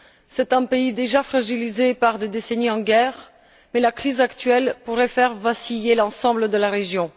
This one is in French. C'est un pays déjà fragilisé par des décennies de guerre, mais la crise actuelle pourrait faire vaciller l'ensemble de la région.